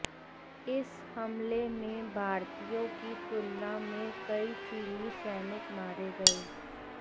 इस हमले में भारतीयों की तुलना में कई चीनी सैनिक मारे गए